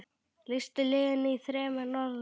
Lýstu liðinu í þremur orðum?